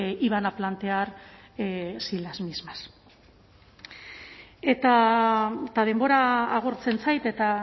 y van a plantear sin las mismas eta denbora agortzen zait eta